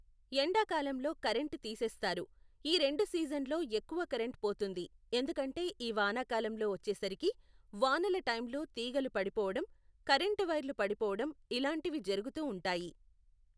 ఎండాకాలంలో కరెంట్ తీసేస్తారు, ఈ రెండు సీజన్లో ఎక్కువ కరెంట్ పోతుంది ఎందుకంటే ఈ వానాకాలంలో ఒచ్చేసరికి వానల టైమ్లో తీగలు పడిపోవడం కరెంట్ వైర్లు పడిపోవడం ఇలాంటివి జరుగుతూ ఉంటాయి.